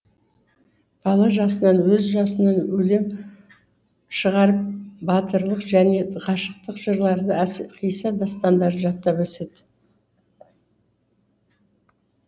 бала жасынан өз жасынан өлең шығарып батырлық және ғашықтық жырларды қисса дастандар жаттап өседі